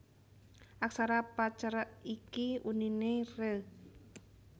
Aksara Pa cerek iki uniné re